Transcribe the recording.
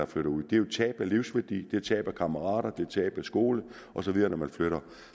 flytter ud det er jo tab af livsværdi det er tab af kammerater det er tab af skole osv når man flytter